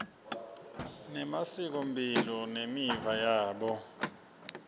nemasikomphilo nemiva yabo